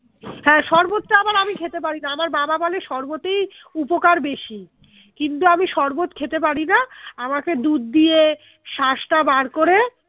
হ্যাঁ শরবত টা আবার আমি খেতে পারিনা আমার বাবা বলে শরবত এই উপকার বেশি কিন্তু আমি শরবত খেতে পারিনা আমাকে দুধ দিয়ে শাঁস টা বার করে